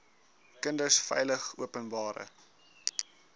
kinders veilig openbare